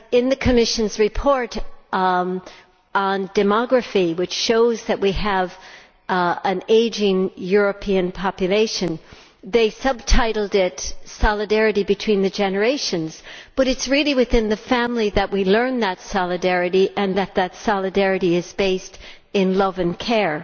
The Commission's report on demography, which shows that we have an ageing European population, is subtitled solidarity between the generations', but it is really within the family that we learn solidarity and that this is based on love and care.